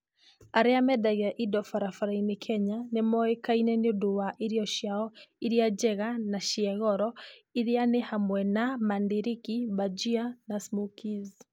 Arĩa mendagia indo barabara-inĩ Kenya nĩ moĩkaine nĩ ũndũ wa irio ciao iria njega na cia goro, iria nĩ hamwe na mandarĩki, bhajia, na smokies.